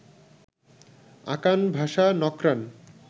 আকান ভাষা নক্রান